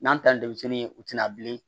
N'an taalen denmisɛnni ye u tɛna bilen